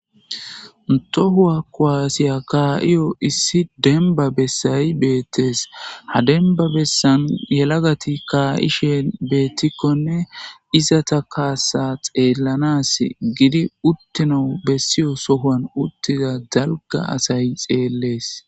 Tohuwa kowaasiya kaa'iyo issi demba bessay beettees hadenba bessan yelagati kaa'ishe beettikkonne izata kaassa xeellanas gidi uttina bessiyo sohuan uttiza zalga asay xeellees